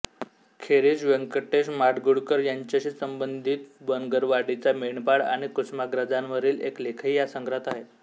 खेरीज व्यंकटेश माडगूळकर यांच्याशी संबंधित बनगरवाडीचा मेंढपाळ आणि कुसुमाग्रजांवरील एक लेखही या संग्रहात आहे